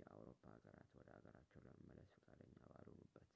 የአውሮፓ አገራት ወደ ሀገራቸው ለመመለስ ፈቃደኛ ባልሆኑበት